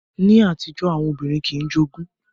Ní àtijọ́, àwọn obìnrin kìí jogún